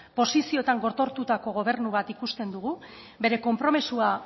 posizioetan gotortutako gobernu bat ikusten dugu bere konpromisoa